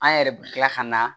An yɛrɛ bɛ tila ka na